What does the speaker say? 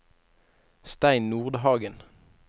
Stein Nordhagen